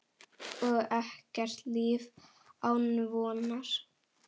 Og ekkert líf án vonar.